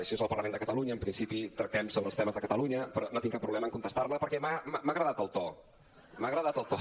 això és el parlament de catalunya en principi tractem sobre els temes de catalunya però no tinc cap problema en contestar la perquè m’ha agradat el to m’ha agradat el to